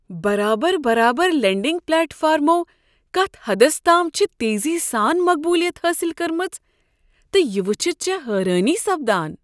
برابر برابر لینڈنگ پلیٹ فارمَو کتھ حدس تام چھ تیزی سان مقبولیت حٲصل کٕرمژ، تہ وچھِتھ چھےٚ حیرٲنی سپدان۔